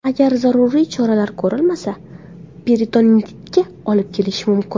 Agar zaruriy choralar ko‘rilmasa, peritonitga olib kelishi mumkin.